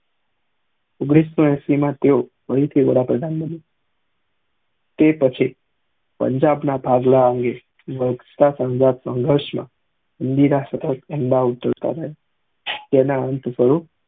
ઓઘ્નીશ સૌ એસી માં તેવો થી વડા પ્રધાન બન્યા તે પછી પંજાબ ના ભાગલા અંગે લોક સંઘર્ષ માં ઇન્દિરા સતત તેમના તેના અંત સ્વરૂપ